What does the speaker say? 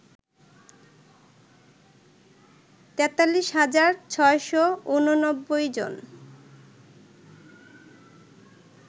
৪৩ হাজার ৬৮৯ জন